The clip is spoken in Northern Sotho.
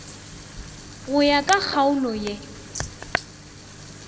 go ya ka kgaolo ye